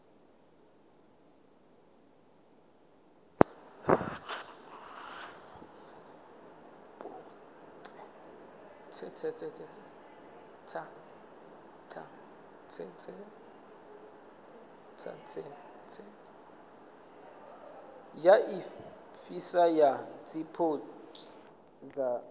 ya ifhasi ya zwipotso zwa